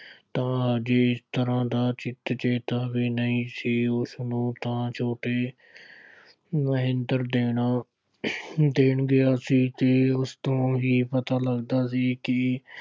ਤਾਂ ਜਿਸ ਤਰ੍ਹਾਂ ਦਾ ਚਿਤ ਚੇਤ ਵੀ ਨਹੀਂ ਸੀ। ਉਸਨੂੰ ਤਾਂ ਛੋਟੇ ਮਹਿੰਦਰ ਦੇ ਨਾਲ ਦੇਣ ਗਿਆ ਸੀ। ਫਿਰ ਉਸ ਤੋਂ ਹੀ ਪਤਾ ਲੱਗਦਾ ਕਿ